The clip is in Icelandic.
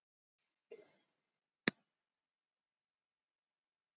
Raunvirði demanta er einfaldlega það verð sem fólk er reiðubúið að borga fyrir þá.